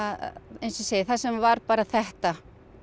eins og ég segi þar sem var bara þetta